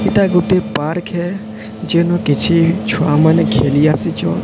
ଏଇଟା ଗୋଟେ ପାର୍କ ଯେନ କିଛି ଛୁଆମାନେ ଖେଳିଆସିଛନ।